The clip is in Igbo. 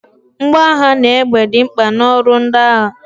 Mgboagha na egbe dị mkpa na ọrụ ndị agha